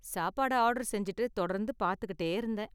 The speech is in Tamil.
சாப்பாடை ஆர்டர் செஞ்சுட்டு தொடர்ந்து பார்த்துக்கிட்டே இருந்தேன்.